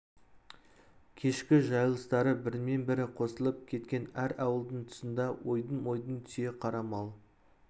кешкі жайылыстары бірімен бірі қосылып кеткен әр ауылдың тұсында ойдым-ойдым түйе қара мал